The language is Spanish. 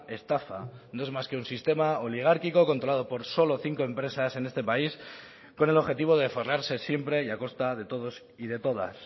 estafa no es más que un sistema oligárquico controlado por solo cinco empresas en este país con el objetivo de forrarse siempre y a costa de todos y de todas